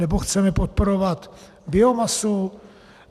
Nebo chceme podporovat biomasu?